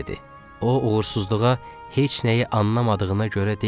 O uğursuzluğa heç nəyi anlamadığına görə deyil.